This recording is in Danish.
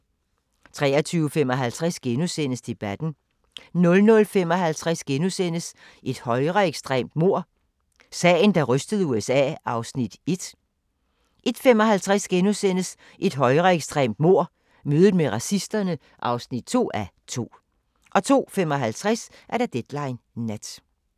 23:55: Debatten * 00:55: Et højreekstremt mord – sagen, der rystede USA (1:2)* 01:55: Et højreekstremt mord – mødet med racisterne (2:2)* 02:55: Deadline Nat